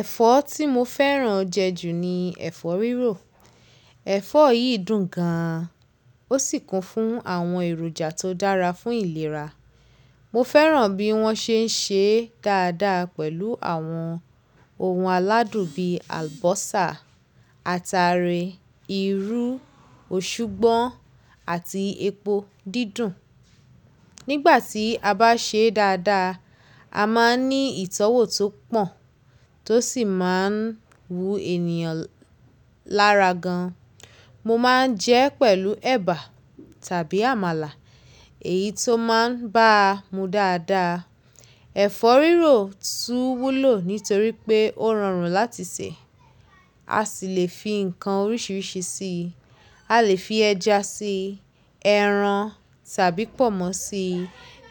Ẹ̀fọ́ tí mo fẹ́ràn jẹ ju ni ẹ̀fọ́ rírò. Ẹ̀fọ́ yìí dùn gan an, ó sì kún fún àwọn èròjà tó dára fún ìlera. Mo fẹ́ràn bí wọ́n ṣe ń ṣe dáadáa pẹ̀lú àwọn ohun aládùn bíi àlùbọ́sà, ataare, irú, òṣugbọ́n àti epo dídùn. Nígbà tí a bá ṣè é dáadáa, a máa ní ìtọ́wọ̀ tó pọ̀ tó sì máa wu ènìyàn lára gan. Mo máa ń jẹ ẹ́ pẹ̀lú ẹ̀bà tàbí àmàlà, èyí tó máa ń bá mu dáadáa. Ẹ̀fọ́ rírò tún wúlò nítorí pé ó rọrùn láti sè, a sì le fi ǹkan oríṣiríṣi sí i. A lè fi ẹja sí i, ẹran tàbí pọ̀nmọ́ sí i,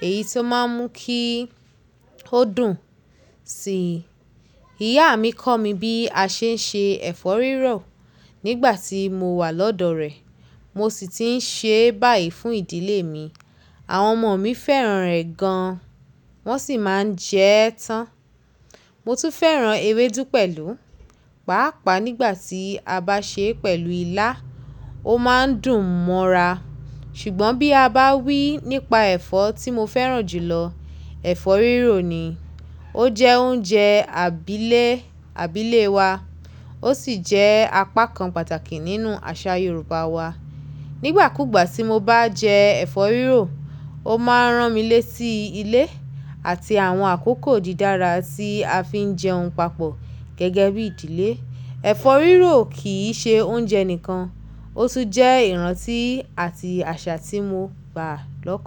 èyí tó máa ń mú kí ó dùn si i. Ìyá mi kọ́ mi bí a ṣe ń ṣe ẹ̀fọ́ rírò nígbà tí mo wà lọ́dọ̀ rẹ̀, mo sì ti ń ṣe báyìí fún ìdílé mi. Àwọn ọmọ mi fẹ́ràn rẹ̀ gan, wọ́n sì máa ń jẹ ẹ́ tán. Mo tún fẹ́ràn ewédú pẹ̀lú. Paapaa nígbà tí a bá ṣè é pẹ̀lú ilá, ó máa ń dùn mọ́ra. Ṣùgbọ́n bí a bá wí nípa ẹ̀fọ́ tí mo fẹ́ràn jùlọ, ẹ̀fọ́ rírò ni. Ó jẹ́ oúnjẹ àbílé àbílé wa. Ó sì jẹ́ apá kan pàtàkì nínú àṣà Yorùbá wa. Nígbà kúgbà tí mo bá jẹ ẹ̀fọ́ rírò, ó máa ń rán mi lé tí ilé àti àwọn àkókò dídára tí a fi ń jẹun papọ̀ gẹ́gẹ́bí ìdílé. Ẹ̀fọ́ rírò kì í ṣe oúnjẹ nìkan, ó tún jẹ́ ìrántí àti àṣà tí mo gbà lọ́kàn.